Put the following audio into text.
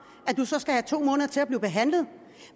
skal have to måneder til at blive behandlet